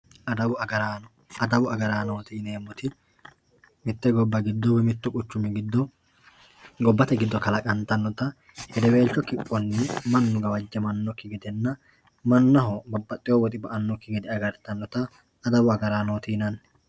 adawu agaraano adawu agaraanooti yineemoti mitte gobba giddo woy mittu quchumi giddo gobbate giddo kalaqantannota hedeweelcho kiphonni mannu gawajjamanokki gedenna mannaho babbaxitiyoo woxi ba"annokki gede agartannota adawu agaraanooti yinanni.